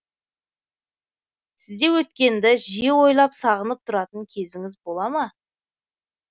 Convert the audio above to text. сізде өткенді жиі ойлап сағынып тұратын кезіңіз болама